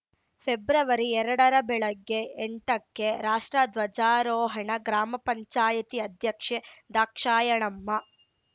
February ಎರಡರ ಬೆಳಗ್ಗೆ ಎಂಟಕ್ಕೆ ರಾಷ್ಟ್ರ ಧ್ವಜಾರೋಹಣ ಗ್ರಾಮ ಪಂಚಾಯತಿ ಅಧ್ಯಕ್ಷೆ ದ್ರಾಕ್ಷಾಯಣಮ್ಮ